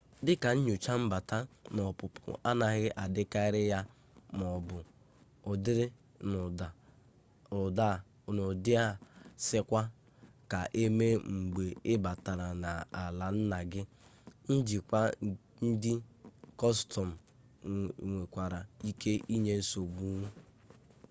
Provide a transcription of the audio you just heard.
dịka nnyocha mbata na ọpụpụ anaghị adịkarị ya maọbụ ọ dịrị n'ụdị a sịkwa ka emee mgbe ị batara n'ala nna gị njikwa ndị kọstọm nwekwara ike inye nsogbu